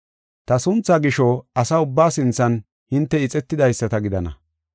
Ta sunthaa gisho asa ubbaa sinthan hinte ixetidaysata gidana.